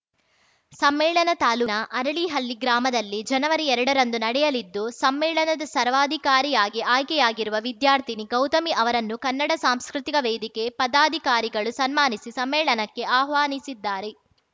ಸಮ್ಮೇಳನ ತಾಲೂನ ಅರಳಿಹಳ್ಳಿ ಗ್ರಾಮದಲ್ಲಿ ಜನವರಿ ಎರಡರಂದು ನಡೆಯಲಿದ್ದು ಸಮ್ಮೇಳನದ ಸರ್ವಾಧಿಕಾರಿಯಾಗಿ ಆಯ್ಕೆಯಾಗಿರುವ ವಿದ್ಯಾರ್ಥಿನಿ ಗೌತಮಿ ಅವರನ್ನು ಕನ್ನಡ ಸಾಂಸ್ಕೃತಿಕ ವೇದಿಕೆ ಪದಾಧಿಕಾರಿಗಳು ಸನ್ಮಾನಿಸಿ ಸಮ್ಮೇಳನಕ್ಕೆ ಆಹ್ವಾನಿಸಿದ್ದಾರೆ